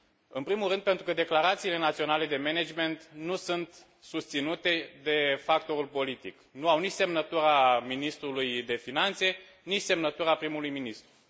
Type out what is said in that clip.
În primul rând, pentru că declarațiile naționale de management nu sunt susținute de factorul politic nu au nici semnătura ministrului de finanțe, nici semnătura prim ministrului.